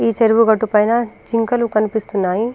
ఈ చెరువు గట్టు పైన జింకలు కనిపిస్తున్నాయి.